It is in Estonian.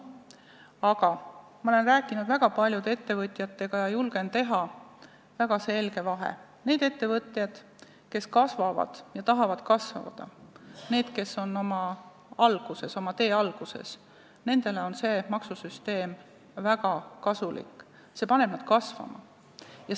Aga ma olen rääkinud väga paljude ettevõtjatega ja julgen teha väga selge vahe: nendele ettevõtjatele, kes kasvavad, tahavad kasvada ja kes on oma tee alguses, on selline maksusüsteem väga kasulik, see paneb nad kasvama.